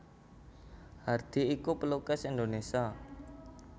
Hardi iku pelukis Indonesia